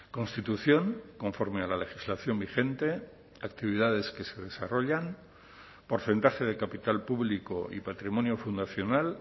constitución conforme a la legislación vigente actividades que se desarrollan porcentaje de capital público y patrimonio fundacional